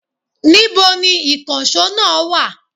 Níbo ni ìkànsó náà wa?